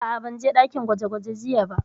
A'a, ban je ɗakin gwaje gwaje jiya ba